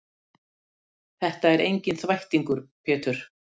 Þetta er enginn þvættingur Pétur.